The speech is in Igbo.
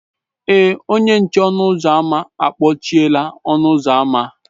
Èé, onye nche ọnụ ụzọ a kpọchiela ọnụ ụzọ ámá.